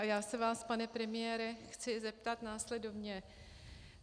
A já se vás, pane premiére, chci zeptat následovně.